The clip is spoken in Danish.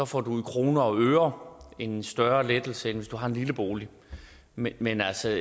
får du i kroner og øre en større lettelse end hvis du har en lille bolig men men altså